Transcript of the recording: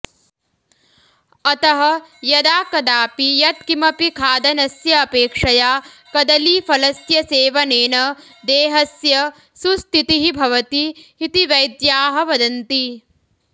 अतः यदाकदापि यत्किमपि खादनस्य अपेक्षया कदलीफलस्य सेवनेन देहस्य सुस्तितिः भवति इति वैद्याः वदन्ति